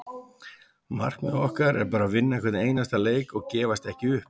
Markmið okkar er bara að vinna hvern einasta leik og gefast ekki upp.